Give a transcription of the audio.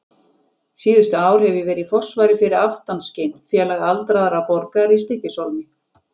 Síðustu ár hef ég verið í forsvari fyrir Aftanskin, félag aldraðra borgara í Stykkishólmi.